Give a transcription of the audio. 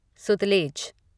Sutlej